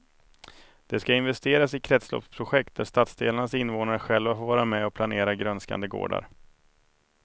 Det ska investeras i kretsloppsprojekt där stadsdelarnas invånare själva får vara med och planera grönskande gårdar.